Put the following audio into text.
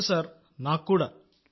అవును సార్ చాలా